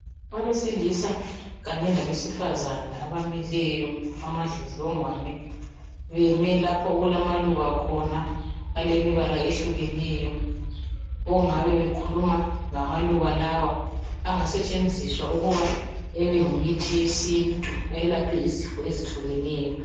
Abesilisa kanye labesifazana abamileyo amadlodlongwane beme lapho okulamaluba khona alemibala ehlukeneyo ongabe bekhuluma ngamaluba lawa angasetshenziswa ukuba ebeyimithi yesintu elaphe izifo ezehlukeneyo.